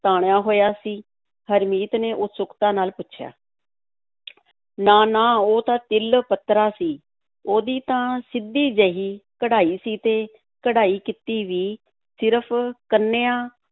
ਤਾਣਿਆ ਹੋਇਆ ਸੀ, ਹਰਮੀਤ ਨੇ ਉਤਸੁਕਤਾ ਨਾਲ ਪੁੱਛਿਆ ਨਾ-ਨਾ, ਉਹ ਤਾਂ ਤਿਲ-ਪੱਤਰਾ ਸੀ, ਉਹਦੀ ਤਾਂ ਸਿੱਧੀ ਜਿਹੀ ਕਢਾਈ ਸੀ ਤੇ ਕਢਾਈ ਕੀਤੀ ਵੀ ਸਿਰਫ਼ ਕੰਨੀਆਂ